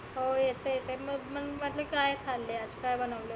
हो येतं येतं मग म्हटलं काय खालं आज? काय बनवलं होतं?